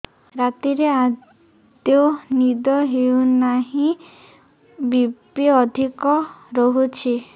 ରାତିରେ ଆଦୌ ନିଦ ହେଉ ନାହିଁ ବି.ପି ଅଧିକ ରହୁଛି